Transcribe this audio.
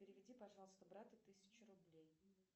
переведи пожалуйста брату тысячу рублей